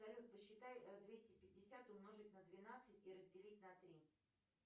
салют посчитай двести пятьдесят умножить на двенадцать и разделить на три